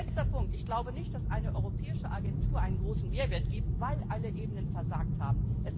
Als letzter Punkt Ich glaube nicht, dass eine europäische Agentur einen großen Mehrwert ergibt, weil alle Ebenen versagt haben.